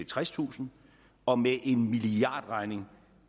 tredstusind og med en milliardregning